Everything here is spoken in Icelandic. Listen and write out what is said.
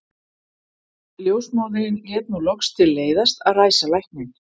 Ljósmóðirin lét nú loks til leiðast að ræsa lækninn.